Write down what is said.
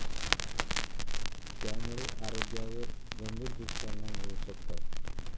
त्यामुळे आरोग्यावर गंभीर दुष्परिणाम होऊ शकतात.